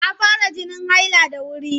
Ta fara jinin haila da wuri.